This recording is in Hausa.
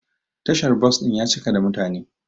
Tashar bos din ya cika da mutane.